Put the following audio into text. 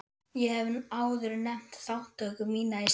Ég hef áður nefnt þátttöku mína í starfi